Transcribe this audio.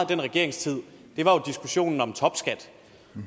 den regeringstid var diskussionen om topskat